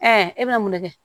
e bɛ mun de kɛ